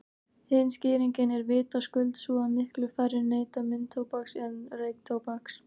Hin skýringin er vitaskuld sú að miklu færri neyta munntóbaks en reyktóbaks.